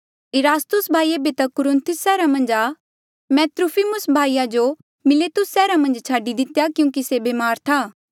इरास्तुस भाई ऐबे तक कुरिन्थुस सैहरा मन्झ आ मैं त्रुफिमुस भाई जो मिलेतुस सैहरा मन्झ छाडी दितेया क्यूंकि से ब्मार था